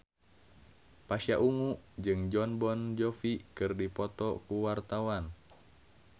Pasha Ungu jeung Jon Bon Jovi keur dipoto ku wartawan